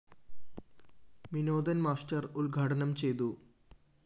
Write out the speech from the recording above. Vinodan‍ master ഉദ്‌ഘാടനം ചെയ്‌തു